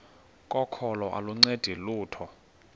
kokholo aluncedi lutho